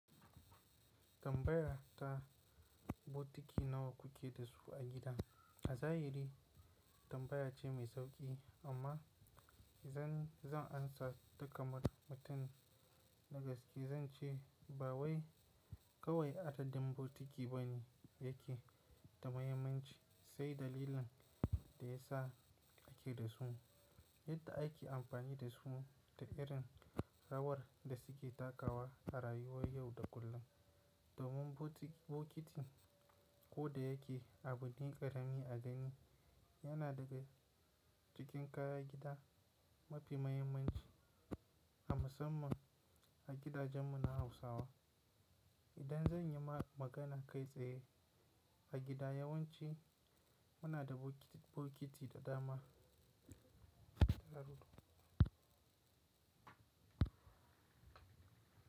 Tambaya ta, bokiti nawa kuke da su a gida? A zahiri tambaya ce mai sauƙi amma idan zan amsa ta kamar mutum na gaske zan ce ba wai kawai adadin bokiti bane yake da muhimmanci sai dalilin da ya sa ake da su, yadda ake amfani da su da irin rawar da suke takawa a rayuwar yau da kullum. Domin bokiti ko da yake abu din ƙaramin a gani yana daga cikin kayan gida mafi muhimmanci, a musamman a gidajenmu na Hausawa. Idan zan yi ma magana kai tsaye, a gida yawanci muna da bokiti da dama.